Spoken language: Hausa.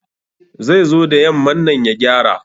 Zai zo da yamman nan ya gyara